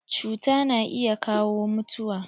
Cuta na iya kawo mutuwa.